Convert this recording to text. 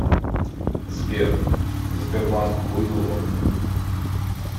сбер сбербанк хуйло